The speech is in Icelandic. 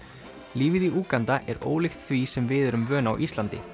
lífið í Úganda er ólíkt því sem við erum vön á Íslandi